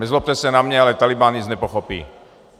Nezlobte se na mě, ale Tálibán nic nepochopí.